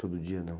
Todo dia, não?